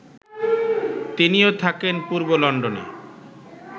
তিনিও থাকেন পূর্ব লন্ডনে